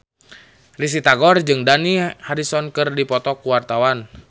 Risty Tagor jeung Dani Harrison keur dipoto ku wartawan